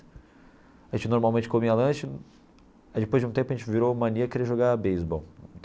A gente normalmente comia lanche aí depois de um tempo a gente virou mania querer jogar beisebol.